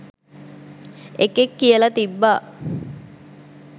එකෙක් කියලා තිබ්බා